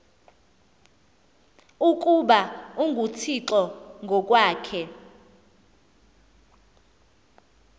ukuba unguthixo ngokwakhe